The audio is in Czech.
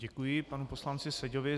Děkuji panu poslanci Seďovi.